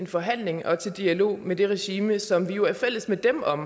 forhandling og dialog med det regime som vi jo er fælles med dem om